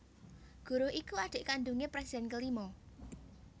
Guruh iku adhik kandungé presiden kelima